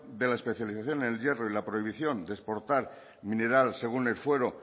de la especialización en el hierro y la prohibición de exportar mineral según el fuero